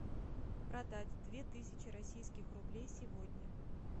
продать две тысячи российских рублей сегодня